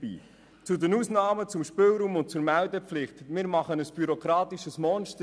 Drittens: zu den Ausnahmen, zum Spielraum und zur Meldepflicht: Wir schaffen ein bürokratisches Monster.